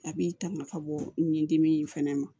A b'i tanga ka bɔ nin dimi in fɛnɛ ma